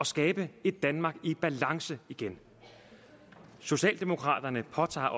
skabe et danmark i balance igen socialdemokraterne påtager